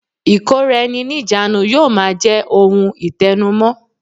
Ìkóra-ẹni-níjàánu yóò máa je ohun itẹnu mọ́